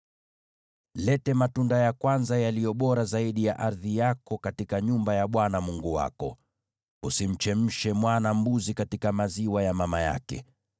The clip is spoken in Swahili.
“Leta matunda ya kwanza yaliyo bora zaidi ya ardhi yako katika nyumba ya Bwana Mungu wako. “Usimchemshe mwana-mbuzi katika maziwa ya mama yake.”